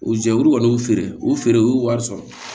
O jɛkulu kɔni feere u feere u y'u wari sɔrɔ